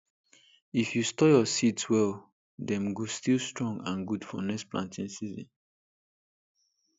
if you store your seeds well dem go still strong and good for next planting season